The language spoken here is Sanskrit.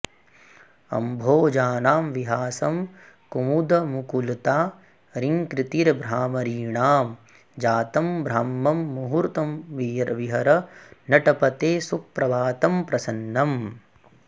अम्भोजानां विहासं कुमुदमुकुलता रीङ्कृतिर्भ्रामरीणां जातं ब्राह्मं मुहूर्तं विहर नटपते सुप्रभातं प्रसन्नम्